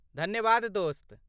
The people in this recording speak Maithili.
धन्यवाद दोस्त।